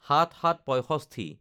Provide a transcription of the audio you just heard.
০৭/০৭/৬৫